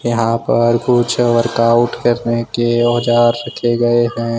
यहां पर कुछ वर्कआउट करने के औजार रखे गए हैं।